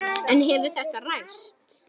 En hefur þetta ræst?